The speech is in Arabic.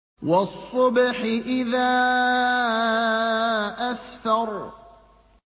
وَالصُّبْحِ إِذَا أَسْفَرَ